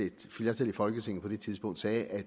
et flertal i folketinget på det tidspunkt sagde at